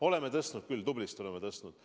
Oleme tõstnud küll, tublisti oleme tõstnud.